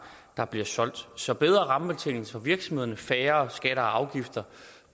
der bliver solgt så bedre rammebetingelser for virksomhederne og færre høje skatter og afgifter